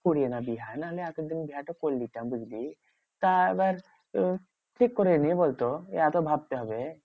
করিনা বিহা না আমি এতদিন বিহা টো করেলিতাম বুঝলি? তা এবার আহ ঠিক করিনি বলতো? এত ভাবতে হবে?